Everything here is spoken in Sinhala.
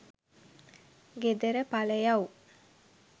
ගෙදර පලයව්.